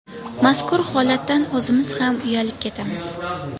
Mazkur holatdan o‘zimiz ham uyatib ketamiz.